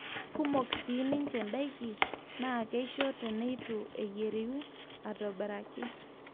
kumok siin ninche ndaiki naa keisho teneitu eyieriu aitobiraki